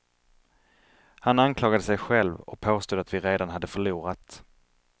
Han anklagade sig själv, och påstod att vi redan hade förlorat.